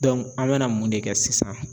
Dɔnku an bɛna mun de kɛ sisan